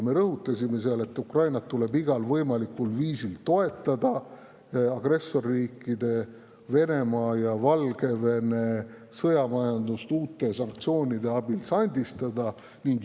Me rõhutasime seal, et tuleb Ukrainat igal võimalikul viisil toetada ning agressorriikide Venemaa ja Valgevene sõjamajandust uute sanktsioonide abil sandistada.